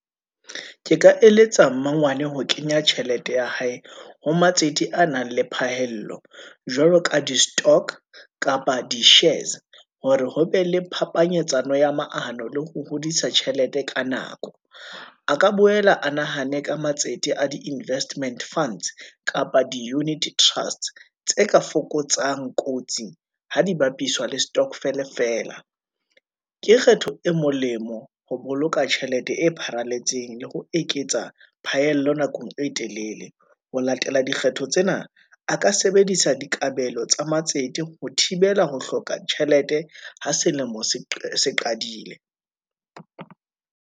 Ke ka eletsa mmangwane ho kenya tjhelete ya hae, ho matsete a nang le phahello, jwalo ka di-stock kapa di-shares, hore ho be le phapanyetsano ya maano le ho hodisa tjhelete ka nako, a ka boela a nahane ka matsete a di-investment funds, kapa di-unit-e trust's, tse ka fokotsang kotsi ha di bapiswa le stokvel feela. Ke kgetho e molemo ho boloka tjhelete e pharalletseng, le ho eketsa phaello nakong e telele. Ho latela dikgetho tsena, a ka sebedisa dikabelo tsa matsete, ho thibela ho hloka tjhelete, ha selemo se qadile.